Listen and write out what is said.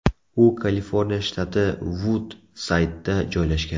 U Kaliforniya shtati Vud-Saydda joylashgan.